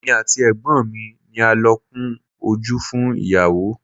Èmi àti Ẹ̀gbọ́n mi ni a lọ kun ojú fún ìyàwó.